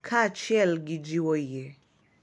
Kaachiel gi jiwo yie, .